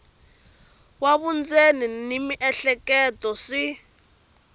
wa vundzeni na miehleketo swi